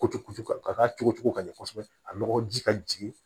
Kutu ka cogo ka ɲɛ kosɛbɛ a nɔgɔji ka jigin